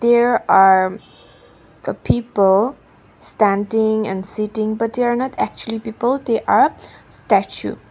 here are the people standing and sitting but they are not actually people they are statue.